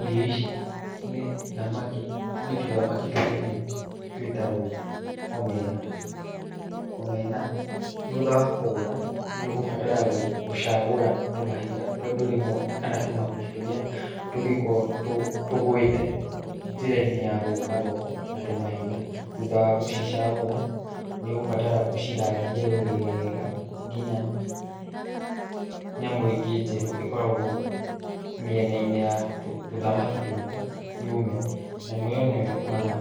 Irio ici nĩ thamaki, nĩ tũthamaki tũnini twĩtagwo Omena, Omena thutha wa kũgũra nĩ ũgũbatara gũcagũra tũmahiga tondũ rĩmwe kana tũmahuti tũrĩa tũngĩkorwo tũ tũgwĩte njĩra-inĩ ya gũka thoko, na tũmahiga, thutha wa gũcicagũra, nĩ ũgũbatara ũcithambie wega nginya nyamũ ingĩ njeru ikoragwo mĩena-inĩ ya tũthamaki tũtũ yũme, nyamũ ĩyo nĩyo ĩtũmaga